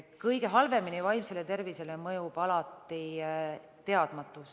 Kõige halvemini mõjub vaimsele tervisele alati teadmatus.